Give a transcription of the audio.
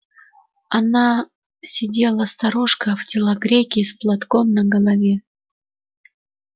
она сидела старушка в телогрейке и с платком на голове